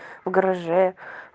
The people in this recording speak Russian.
в гараже